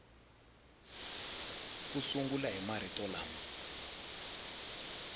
u sungula hi marito lama